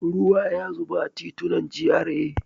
Ruwa ya zuba a titunan GRA.